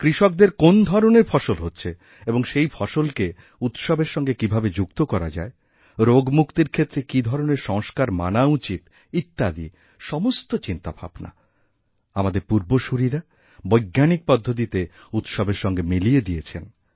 কৃষকদের কোন্ ধরণের ফসল হচ্ছে এবং সেই ফসলকে উৎসবের সঙ্গে কীভাবে যুক্ত করা যায়রোগমুক্তির ক্ষেত্রে কী ধরণের সংস্কার মানা উচিত ইত্যাদি সমস্ত চিন্তাভাবনা আমাদেরপূর্বসূরীরা বৈজ্ঞানিক পদ্ধতিতে উৎসবের সঙ্গে মিলিয়ে দিয়েছেন